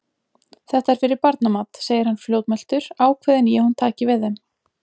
Þetta er fyrir barnamat, segir hann fljótmæltur, ákveðinn í að hún taki við þeim.